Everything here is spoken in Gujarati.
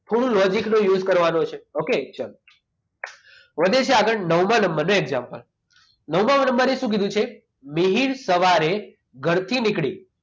થોડું logic નો use કરવાનો છે okay ચાલો વધે છે આગળ નવમા નંબરનો example નવમા નંબર ને શું કીધું છે મિહિર સવારે ઘરથી નીકળી